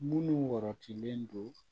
Minnu warɔtilen don